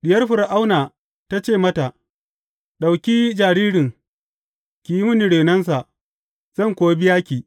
Diyar Fir’auna ta ce mata, Ɗauki jaririn, ki yi mini renonsa, zan kuwa biya ki.